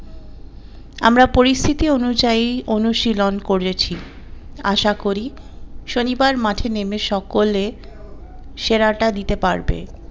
আমরা পরিস্থিতি অনুযায়ী অনুশীলন করেছি আশা করি শনিবার মাঠে নেমে সকলে সেরা টা দিতে পারবে।